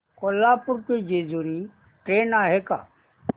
कोल्हापूर ते जेजुरी ट्रेन आहे का